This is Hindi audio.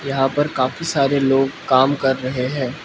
यहाँ पर काफी सारे लोग काम कर रहे हैं।